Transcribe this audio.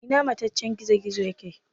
Ina mataccen gizo-gizon yake?